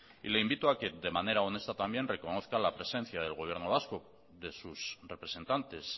y le invito a que de manera honesta también reconozca la presencia del gobierno vasco de sus representantes